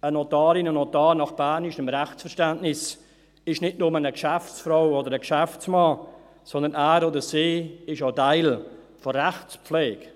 Eine Notarin, ein Notar ist nach bernischem Rechtsverständnis nicht nur eine Geschäftsfrau oder ein Geschäftsmann, sondern er oder sie ist auch Teil der Rechtspflege